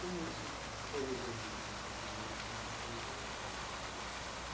Como isso foi resolvido no seu interior, isso não foi, como é que é?